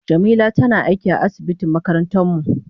Jamila tana aiki a asibitin makarantar mu.